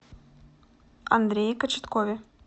андрее кочеткове